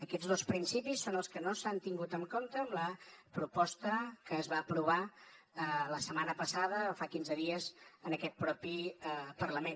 aquests dos principis són els que no s’han tingut en compte en la proposta que es va aprovar fa quinze dies en aquest propi parlament